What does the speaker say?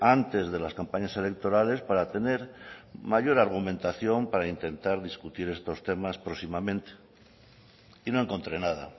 antes de las campañas electorales para tener mayor argumentación para intentar discutir estos temas próximamente y no encontré nada